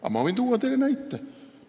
Aga ma võin tuua teile näite.